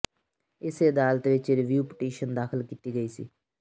ਇਸੇ ਅਦਾਲਤ ਵਿਚ ਰਿਵਿਊ ਪਟੀਸ਼ਨ ਦਾਖਲ ਕੀਤੀ ਗਈ ਸੀ